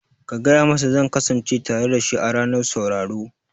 Ka gaya masa zan kasance tare dashi a ranar sauraro